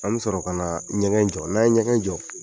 An bɛ sɔrɔ ka na ɲɛgɛn jɔ n'a ye ɲɛngɛn jɔ